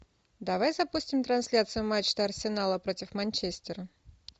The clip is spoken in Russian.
давай запустим трансляцию матча арсенала против манчестера